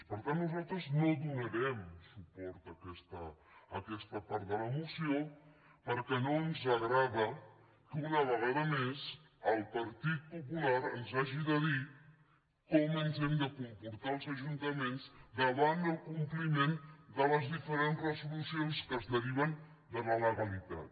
per tant nosaltres no donarem suport a aquesta part de la moció perquè no ens agrada que una vegada més el partit popular ens hagi de dir com ens hem de comportar els ajuntaments davant el compliment de les diferents resolucions que es deriven de la legalitat